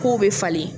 K'o bɛ falen